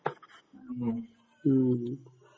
ഉം